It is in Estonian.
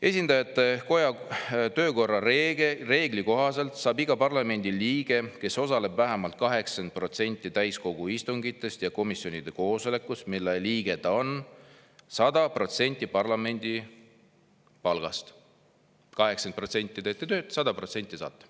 Esindajatekoja töökorra reegli kohaselt saab iga parlamendiliige, kes osaleb vähemalt 80%‑l täiskogu istungitest ja komisjonide koosolekutest, mille liige ta on, 100% parlamendi palgast – 80% teete tööd, 100% saate.